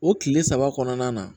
O kile saba kɔnɔna na